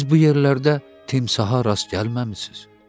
Siz bu yerlərdə timsaha rast gəlməmisiniz?